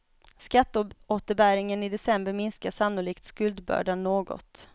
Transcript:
Skatteåterbäringen i december minskar sannolikt skuldbördan något.